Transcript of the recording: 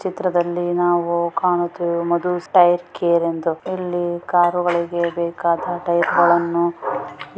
ಈ ಚಿತ್ರದಲ್ಲಿ ನಾವು ಕಾಣುತ್ತಿರುವುದು ಮಧುಸ್ ಟೈಯರ್ ಕೇರ್ ಎಂದು